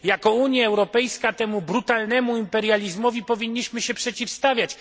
Jako Unia Europejska temu brutalnemu imperializmowi powinniśmy się przeciwstawiać.